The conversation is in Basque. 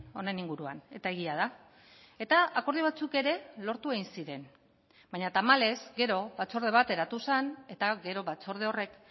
honen inguruan eta egia da eta akordio batzuk ere lortu egin ziren baina tamalez gero batzorde bat eratu zen eta gero batzorde horrek